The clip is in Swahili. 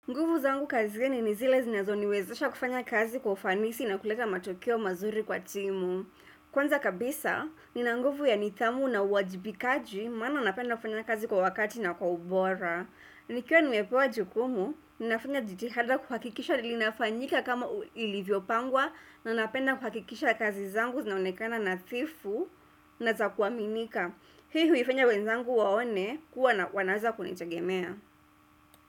Nguvu zangu kazini ni zile zinazo niwezesha kufanya kazi kwa ufanisi na kuleta matokeo mazuri kwa timu. Kwanza kabisa, nina nguvu ya nithamu na uwajibikaji maana napenda kufanya kazi kwa wakati na kwa ubora. Nikiwa nimepewa jukumu, ninafanya jitihada kuhakikisha ilinafanyika kama ilivyo pangwa na napenda kuhakikisha kazi zangu zinaonekana nathifu na za kuaminika. Hii huifanya wenzangu waone kuwa na wanaeza kunitegemea.